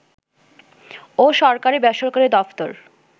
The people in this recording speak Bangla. ও সরকারি-বেসরকারি দফতর